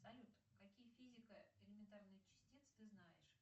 салют какие физико элементарные частицы ты знаешь